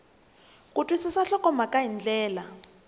ku twisisa nhlokomhaka hi ndlela